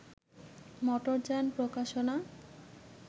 মোটরযান প্রকাশনা